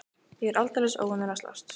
Ég er allsendis óvanur að slást.